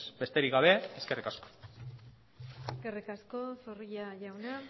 besterik gabe eskerrik asko eskerrik asko zorrilla jauna